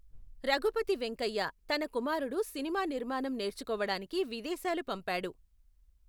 రఘుపతి వెంకయ్య తన కుమారుడు సినిమా నిర్మాణం నేర్చుకోవడానికి విదేశాలు పంపాడు.